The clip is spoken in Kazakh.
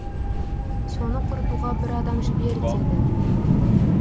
соны құртуға бір адам жібер деді